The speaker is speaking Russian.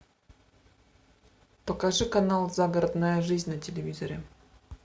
покажи канал загородная жизнь на телевизоре